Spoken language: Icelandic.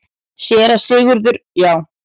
SÉRA SIGURÐUR: Já!